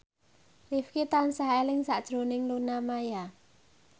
Rifqi tansah eling sakjroning Luna Maya